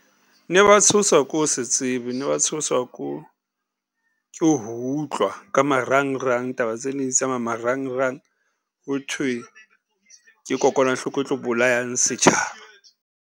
Ne ba tshoswa ke ho se tsebe ne ba tshoswa ke ho utlwa ka marangrang taba tse neng di tsamaya marangrang, ho thwe ke kokwanahloko e tlo bolayang setjhaba.